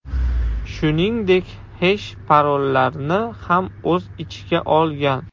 Shuningdek, hesh-parollarni ham o‘z ichiga olgan.